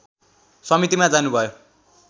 समितिमा जानुभयो